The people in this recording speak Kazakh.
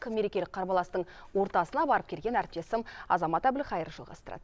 мерекелік қарбаластың ортасына барып келген әріптесім азамат әбілқайыр жалғастырады